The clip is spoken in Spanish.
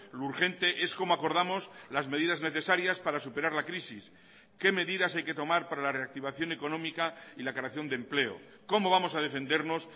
lo urgente es como acordamos las medidas necesarias para superar la crisis qué medidas hay que tomar para la reactivación económica y la creación de empleo cómo vamos a defendernos